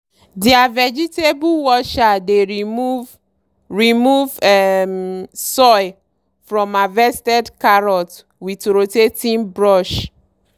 deir vegetable washer dey remove remove um soil from harvested carrot with rotating brush.